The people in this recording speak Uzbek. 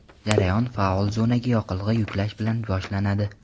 Jarayon faol zonaga yoqilg‘i yuklash bilan boshlanadi.